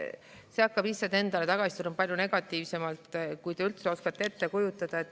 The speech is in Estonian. See hakkab lihtsalt endale tagasi tulema palju negatiivsemalt, kui te üldse oskate ette kujutada.